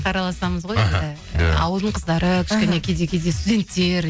араласамыз ғой енді ауылдың қыздары кішкене кейде кейде студенттер